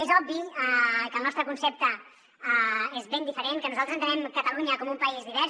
és obvi que el nostre concepte és ben diferent que nosaltres entenem catalunya com un país divers